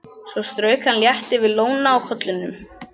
Svo strauk hann létt yfir lóna á kollinum.